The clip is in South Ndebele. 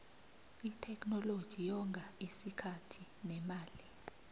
itheknoloji yonga isikhathi nemali